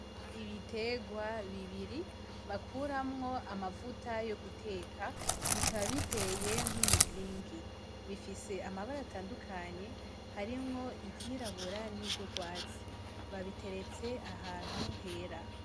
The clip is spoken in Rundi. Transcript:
Ibiterwa bibiri bakuramwo amavuta yo guteka, bikaba biteye nk'umuzingi, bifise amabara atandukanye, harimwo iryirabura n'iryugwatsi, babiteretse ahantu hera.